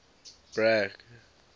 bragg